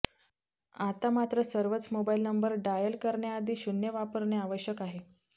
आता मात्र सर्वच मोबाइल नंबर डायल करण्याआधी शून्य वापरणे आवश्यक आहे